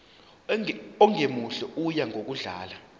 ongemuhle oya ngokudlanga